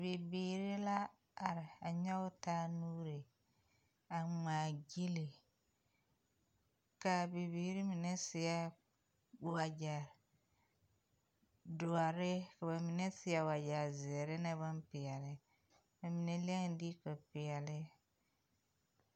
Bibiiri la are a nyɔge taa nuuri a ŋmmaa gyile kaa bibiiri mine meŋ seɛ wagyɛ doɔre ka ba mine seɛ wagyɛ zēēre ne boŋpeɛle ba mine leŋee diiko peɛle.